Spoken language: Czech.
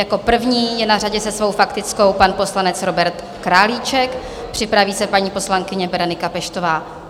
Jako první je na řadě se svou faktickou pan poslanec Robert Králíček, připraví se paní poslankyně Berenika Peštová.